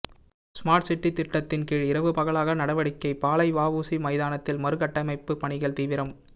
smart city திட்டத்தின் கீழ் இரவு பகலாக நடவடிக்கை பாளை வஉசி மைதானத்தில் மறு கட்டமைப்பு பணிகள் தீவிரம்